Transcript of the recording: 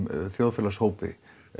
þjóðfélagshópi